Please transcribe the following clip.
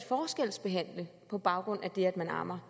forskelsbehandle på baggrund af det at man ammer